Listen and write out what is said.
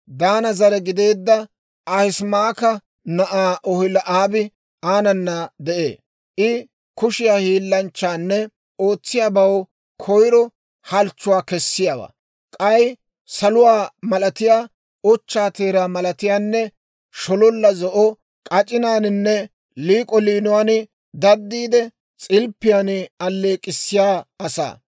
Daana zare gideedda Ahisamaaka na'aa Oholi'aabi aanana de'ee; I kushiyaa hiillanchchanne ootsiyaabaw koyro halchchuwaa kessiyaawaa; k'ay saluwaa malatiyaa, ochchaa teeraa malatiyaanne shololla zo'o k'ac'inaaninne liik'o liinuwaan daddiide, s'ilppiyaan alleek'k'issiyaa asaa.